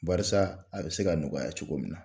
Barisa a bɛ se ka nɔgɔya cogo min na